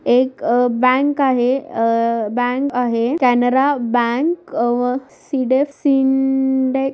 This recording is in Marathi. एक बँक आहे अ बँक आहे. कॅनरा बँक व